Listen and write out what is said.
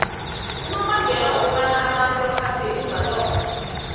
unobangela wokobana abantu baphathwe yintumbantonga